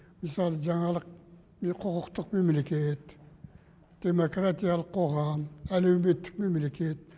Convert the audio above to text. мысалы жаңалық құқықтық мемлекет демокартиялық қоғам әлеуметтік мемлекет